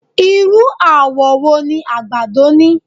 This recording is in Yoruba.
Irú àwọ̀ wo ni àgbàdo ni?